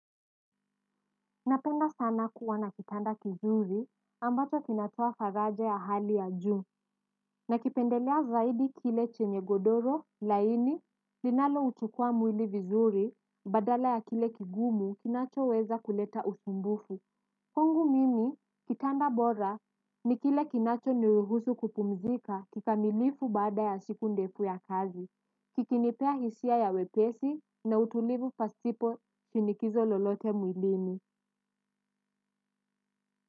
Napenda sana kuwa na kitanda kizuri ambacho kinatoa faraja ya hali ya juu nakipendelea zaidi kile chenye godoro laini linaloutukua mwili vizuri badala ya kile kigumu kinachoweza kuleta usumbufu. Kwangu mimi kitanda bora ni kile kinachoniruhusu kupumzika kikamilifu baada ya siku ndefu ya kazi, kikinipea hisia ya wepesi na utulivu pasipo shinikizo lolote mwilini.